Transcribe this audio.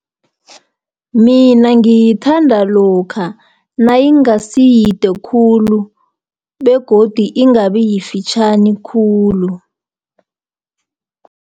Mina ngithanda lokha, nayingasiyide khulu begodi ingabi yifitjhani khulu.